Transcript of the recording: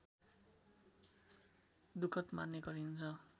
दुखद मान्ने गरिन्छ